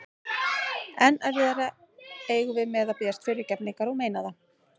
Enn erfiðara eigum við með að biðjast fyrirgefningar og meina það.